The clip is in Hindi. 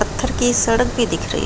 पत्थर की सड़क भी दिख रही --